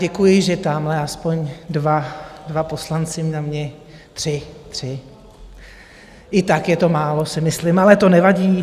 Děkuji, že tamhle aspoň dva poslanci na mě... tři, tři, i tak je to málo, si myslím, ale to nevadí.